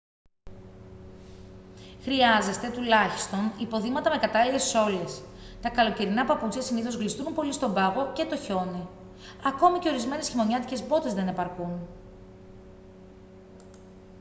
χρειάζεστε τουλάχιστον υποδήματα με κατάλληλες σόλες. τα καλοκαιρινά παπούτσια συνήθως γλιστρούν πολύ στον πάγο και το χιόνι· ακόμη και ορισμένες χειμωνιάτικες μπότες δεν επαρκούν